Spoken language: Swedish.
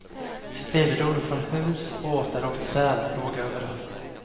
Spillror från hus, båtar och träd låg överallt.